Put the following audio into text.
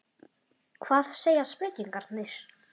Hvað segja spekingarnir?